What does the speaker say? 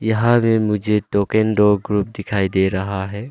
यहां रे मुझे टोकेन दो ग्रुप दिखाई दे रहा है।